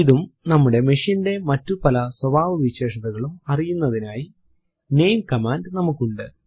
ഇതും നമ്മുടെ machine ന്റെ മറ്റു പല സ്വഭാവവിശേഷതകളും അറിയുന്നതിനായി നാമെ കമാൻഡ് നമുക്കുണ്ട്